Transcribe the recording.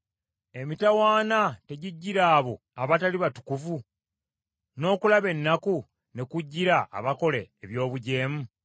Emitawaana tegijjira abo abatali batukuvu, n’okulaba ennaku ne kujjira abakola eby’obujeemu?